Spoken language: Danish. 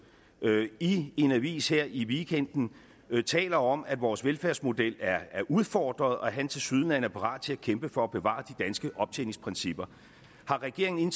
i en avis her i weekenden taler om at vores velfærdsmodel er udfordret og at han tilsyneladende er parat til at kæmpe for at bevare de danske optjeningsprincipper har regeringen